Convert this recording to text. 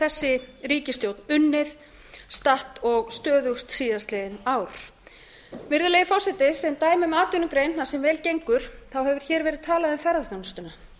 þessi ríkisstjórn unnið statt og stöðugt síðastliðin ár virðulegi forseti sem dæmi um atvinnugrein þar sem vel gengur hefur hér verið talað um ferðaþjónustuna